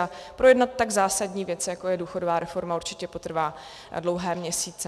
A projednat tak zásadní věc, jako je důchodová reforma, určitě potrvá dlouhé měsíce.